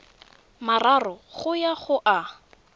mararo go ya go a